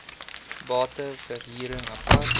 bate verhuring apart